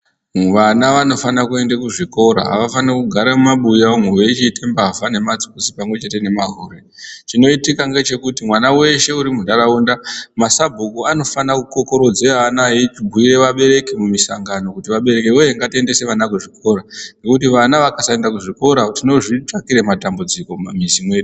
Vana vanofana kuenda kuzvikora avafani kugara mumabuya umwu veichiite mbavha nematsotsi pamwechete nemahure , chinoitika ngechekuti mwana weshe uri muntaraunda masabhuku anofana kukokorodze ana eichibhire vabereki mumisangano kuti abereki woye ngatiendese vana kuzvikora ngekuti vana vakasaenda kuzvikora Tinozvitsvakire matambudziko mumamizi medu.